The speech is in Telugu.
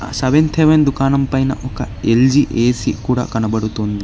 సెవెంత్ హెవెన్ దుకాణం పైన ఒక ఎల్_జీ ఏ_సీ కూడా కనబడుతుంది.